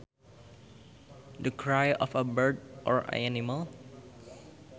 The cry of a bird or animal